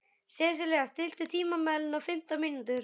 Sesilía, stilltu tímamælinn á fimmtán mínútur.